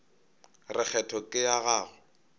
re kgetho ke ya gago